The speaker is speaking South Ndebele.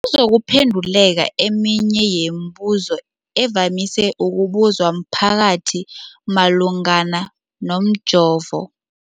kuzokuphe nduleka eminye yemibu zo evamise ukubuzwa mphakathi malungana nomjovo.